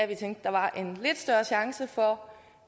vi tænkte der var en lidt større chance for